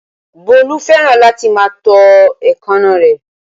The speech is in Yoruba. Bólú fẹ́ràn láti máa tọ́ èékánná rẹ̀